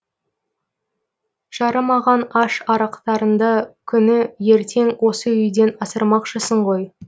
жарымаған аш арықтарыңды күні ертең осы үйден асырамақшысын ғой